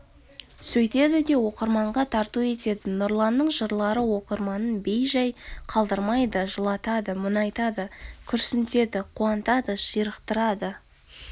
сөйтеді де оқырманға тарту етеді нұрланның жырлары оқырманын бей жай қалдырмайды жылатады мұнайтады күрсінтеді қуантады ширықтырады